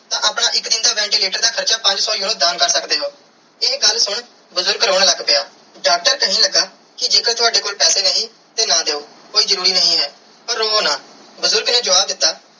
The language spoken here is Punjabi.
ਤੇ ਆਪਣਾ ਇਕ ਦਿਨ ਦਾ ventilator ਦਾ ਹਾਰਚਾ ਪੰਜ ਸੋ euro ਦਾਨ ਕਰ ਸਕਦੇ ਓ ਇਹ ਗੱਲ ਸੁਨ ਬੁਜ਼ਰਗ ਰੋਂ ਲੱਗ ਪਿਆ ਡਾਕਟਰ ਕੇਹਨ ਲਗਾ ਕੇ ਜੇ ਕਰ ਤਾਵਦੇ ਕੋਲ ਪੈਸੇ ਨਹੀਂ ਤੇ ਨਾ ਦਿਯੋ ਕੋਈ ਜਰੂਰੀ ਨਾਈ ਹੈ ਪਾਰ ਰੋਵੋ ਨਾ ਬੁਜ਼ਰਗ ਨੇ ਜਵਾਬ ਦਿੱਤਾ.